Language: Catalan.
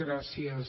gràcies